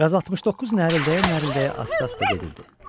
QAZ 69 nərəldəyə-nərəldəyə asta-asta gedirdi.